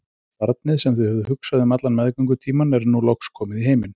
Barnið, sem þau höfðu hugsað um allan meðgöngutímann, er nú loks komið í heiminn.